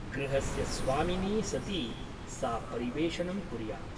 गृहस्य स्वामिनी सती सा परिवेषणं कुर्यात् ।